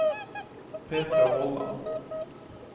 Petra Vollan